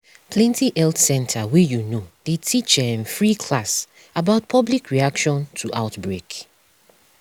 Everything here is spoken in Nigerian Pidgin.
plenty health center wey you know dey teach um free class about public reaction to outbreak